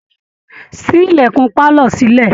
Ṣí ilẹ̀kun pálọ̀ sílẹ̀!